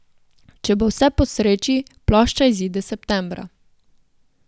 Če bo vse po sreči, plošča izide septembra.